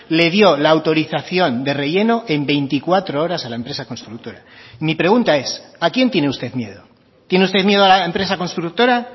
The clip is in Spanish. le dio la autorización de relleno en veinticuatro horas a la empresa constructora mi pregunta es a quién tiene usted miedo tiene usted miedo a la empresa constructora